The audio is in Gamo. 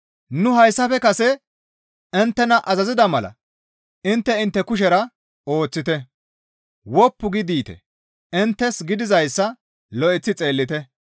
Nu hayssafe kase inttena azazida mala intte intte kushera ooththite; woppu gi diite; inttes gidizayssa lo7eththi xeellite.